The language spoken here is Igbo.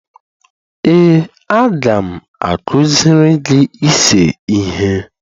ee, a ga m akụziri gị ise ihe